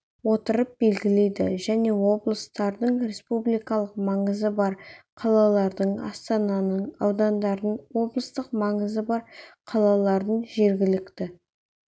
отырып белгілейді және облыстардың республикалық маңызы бар қалалардың астананың аудандардың облыстық маңызы бар қалалардың жергілікті